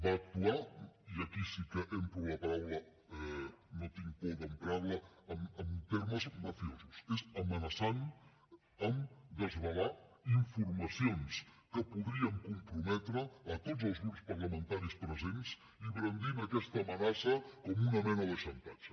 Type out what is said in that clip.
va actuar i aquí sí que empro la paraula no tinc por d’emprar la en termes mafiosos amenaçant a desvelar informacions que podrien comprometre tots els grups parlamentaris presents i brandint aquesta amenaça com una mena de xantatge